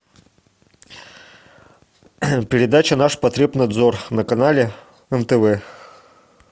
передача наш потребнадзор на канале нтв